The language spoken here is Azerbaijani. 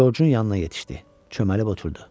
Corcun yanına yetişdi, çöməlib oturdu.